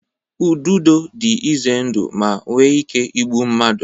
Ududo dị ize ndụ ma nwee ike igbu mmadụ